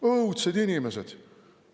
Õudsed inimesed!